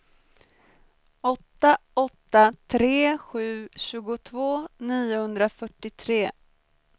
åtta åtta tre sju tjugotvå niohundrafyrtiotre